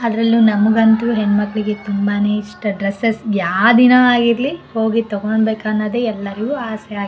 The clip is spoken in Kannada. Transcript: ಅದ್ರಲ್ಲೂ ನಮಗಂತೂ ಹೆಣ್ ಮಕ್ಕಳಿಗೆ ತುಂಬಾನೇ ಇಷ್ಟ ಡ್ರೆಸ್ಸೆಸ್ ಯಾವ ದಿನ ಆಗಿರ್ಲಿ ಹೋಗಿ ತಗೋಬೇಕು ಅನ್ನೋದೇ ಎಲ್ಲರಿಗೂ ಆಸೆ.